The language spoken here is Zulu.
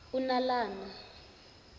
unalana